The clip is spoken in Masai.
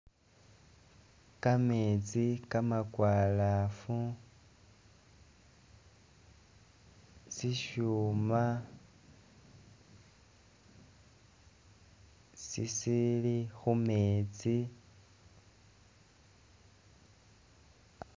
Kametsi kamakwalafu, sisyuuma sisili khu'metsi